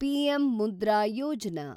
PM Mudra Yojana